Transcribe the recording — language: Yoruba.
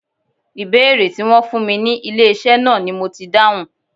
Ìbéèrè Tí wón fún mi ní ilé iṣẹ́ náà ni mo ti dáhùn.